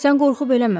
Sən qorxub eləmə.